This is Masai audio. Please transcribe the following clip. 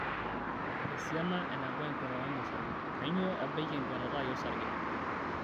Esiana eneba enkuatata ino osarge, kainyoo ebaiki enkuatata ai osarge?